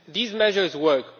These measures work.